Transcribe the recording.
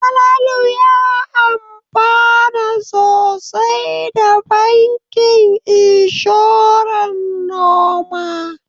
Falalu ya amfana sosai da bankin inshoran noma.